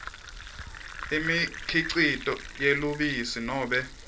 imikhicito yelubisi nobe